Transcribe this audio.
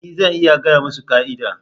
E! Zan iya gaya musu ka'ida.